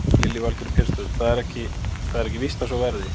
Lillý Valgerður Pétursdóttir: Það er ekki víst að svo verði?